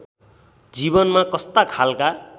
जीवनमा कस्ता खालका